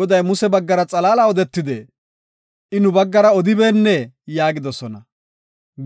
“Goday Muse baggara xalaala odetidee? I nu baggara odibeennee?” yaagidosona.